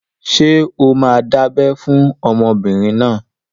Ṣé o máa dábẹ́ fún ọmọbìnrin náà?